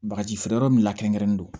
Bagaji feere yɔrɔ min la kɛrɛnkɛrɛnnen don